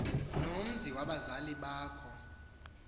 nomzi abazali bakho